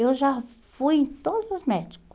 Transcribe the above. Eu já fui em todos os médico.